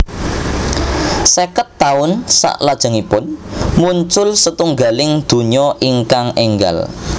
Sèket taun salajengipun muncul setunggaling donya ingkang énggal